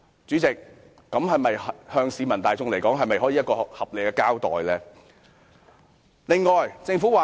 這對市民大眾來說是否一個合理的交代？